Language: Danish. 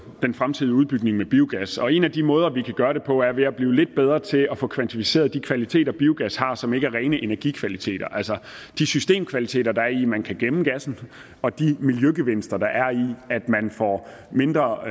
den fremtidige udbygning med biogas og en af de måder vi kan gøre det på er ved at blive lidt bedre til at få kvantificeret de kvaliteter biogas har som ikke er rene energikvaliteter altså de systemkvaliteter der er i at man kan gemme gassen og de miljøgevinster der er i at man får mindre